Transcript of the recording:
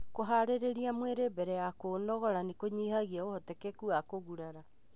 Kũharĩria mwiri mbere ya kũunogora nĩkũnyihagia ũhotekeku wa kũgurara.